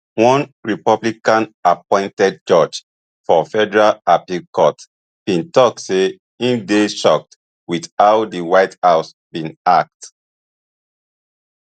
one republicanappointed judge for federal appeal court bin tok say im dey shocked wit how di white house bin act